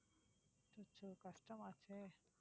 அச்சச்சோ கஷ்டமாச்சே